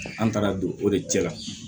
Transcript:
An taara don o de cɛ la